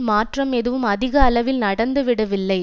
மாற்றம் எதுவும் அதிக அளவில் நடந்து விடவில்லை